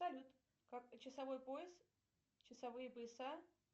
салют часовой пояс часовые пояса